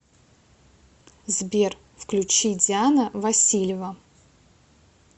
сбер включи диана васильева